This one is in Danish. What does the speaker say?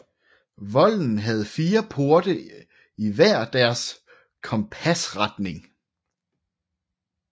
Volden havde fire porte i hver deres kompasretning